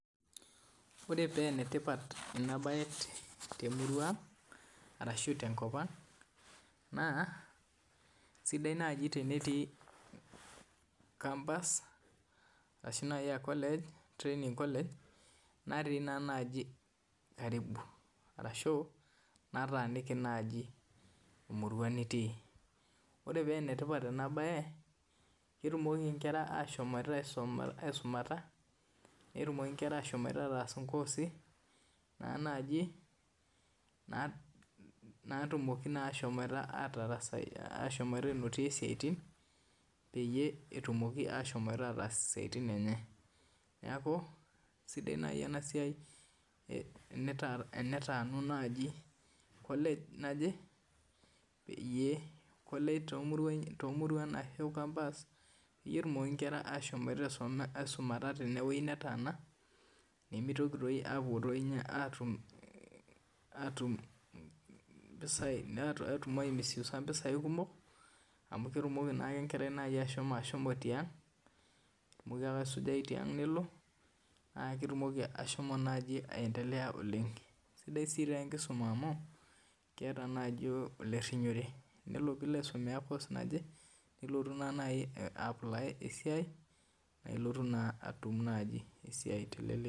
Ore paa enetipat ena mbae temurua ang ashu tenkop ang naa sidai naaji tenetii campus ashu training college natii naaji karibu ashuu nataniki emurua nitii ore paa enetipat ena mbae ketumoki Nkera ashom aisumata netum Nkera ashom ataas nkoosi naa naaji natumoki ashomi anotie esiatin peeyie etum atarasai neeku sidai naaji enasiai tenetanu college naaje ashu campus petumoki nkera ashom aisumata tewueji netaana nimitoki apuo ninye atum aimisuisa mpisai kumok amu ketumoki naaji enkerai tiag amu keeku kesujai tiag nelo naa ketumoki asho aendelea oleng sidai taa tenkisuma amu keeta naaji olerinyiore tenelo piloo aisomea course naaje nilotu naa naaji apply esiai naa elotu atum esiai teleleki